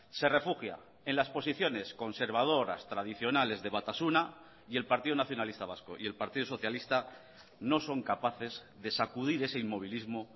se refugia en las posiciones conservadoras tradicionales de batasuna y el partido nacionalista vasco y el partido socialista no son capaces de sacudir ese inmovilismo